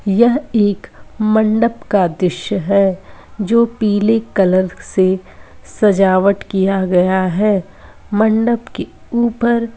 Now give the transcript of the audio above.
यह एक मंडप का द्रश्य है जो पीले कलर से सजावट किया गया है। मंडप के ऊपर --